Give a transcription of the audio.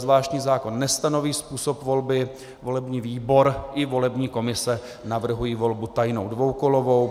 Zvláštní zákon nestanoví způsob volby, volební výbor i volební komise navrhují volbu tajnou, dvoukolovou.